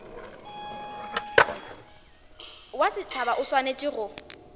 wa setšhaba o swanetše go